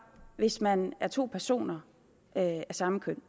hvis man er to personer af samme køn